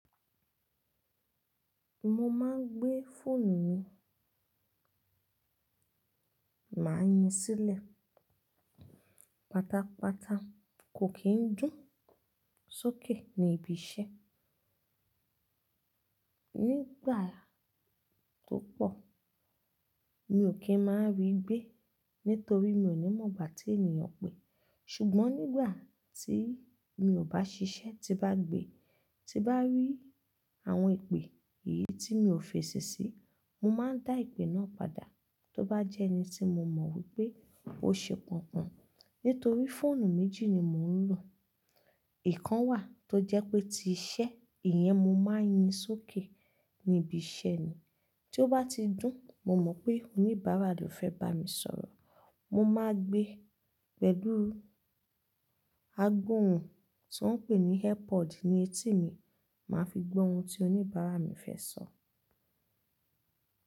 Mo máa ń gbé fóònù mi, màá yin sílẹ̀ pátápátá kò kì n dún sókè ní ibi iṣẹ́. Nígbà tó pọ̀, mi ò kí ń máa rí gbé torí mi ò ní mọ̀ gbà tí ènìyàn pè. Ṣùgbọ́n nígbà tí mi ò bá ṣiṣẹ́ tí bá gbé, tí bá rí àwọn ìpè èyí tí mi ò fèsì sí, mo máa ń dá ìpè náà padà. Tó bá jẹ́ ẹni tí mo mọ̀ wípé ó ṣe pọ́n pọ́n, nítorí fóònù méjì ni mò ń lò. Ìkan wà tó jẹ́ pé tí iṣẹ́, ìyẹn mo máa ń yin sókè ní ibi iṣẹ́ ni. Tó bá ti dún, mo mọ̀ pé oníbàárà ló fẹ́ bá mi sọ̀rọ̀. Mo máa gbé pẹ̀lú agbohùn tí wọ́n ń pè ní earpod ní etí mi, màá fi gbọ́ ohun tí oníbàárà mi fẹ́ sọ.